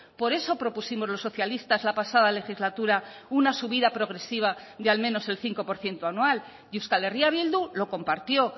por eso propusimos los socialistas la pasada legislatura una subida progresiva de al menos el cinco por ciento anual y euskal herria bildu lo compartió